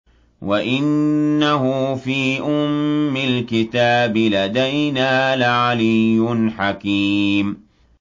وَإِنَّهُ فِي أُمِّ الْكِتَابِ لَدَيْنَا لَعَلِيٌّ حَكِيمٌ